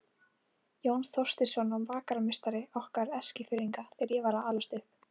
Jón Þorsteinsson var bakarameistari okkar Eskfirðinga þegar ég var að alast upp.